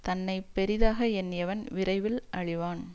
தன்னை பெரிதாக எண்ணியவன் விரைவில் அழிவான்